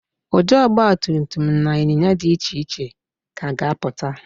Ụdị ọgbatumtum na ịnyinya ígwè dị iche iche ka ga-apụta